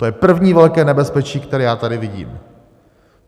To je první velké nebezpečí, které já tady vidím.